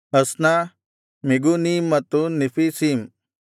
ಅಸ್ನ ಮೆಗೂನೀಮ್ ಮತ್ತು ನೆಫೀಸೀಮ್